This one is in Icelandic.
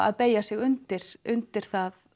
að beygja sig undir undir